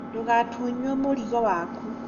ndũgatunywo mũrigo waku